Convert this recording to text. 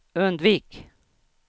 undvik